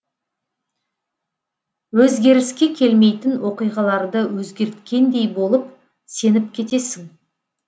өзгеріске келмейтін оқиғаларды өзгерткендей болып сеніп кетесің